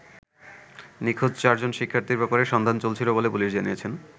নিখোঁজ চারজন শিক্ষার্থীর ব্যাপারে সন্ধান চলছিল বলে পুলিশ জানিয়েছে।